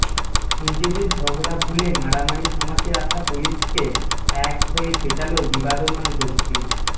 নিজেদের ঝগড়া ভুলে মারামারি থামাতে আসা পুলিশকে এক হয়ে পেটাল বিবাদমান গোষ্ঠী